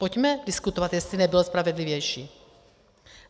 Pojďme diskutovat, jestli nebyl spravedlivější.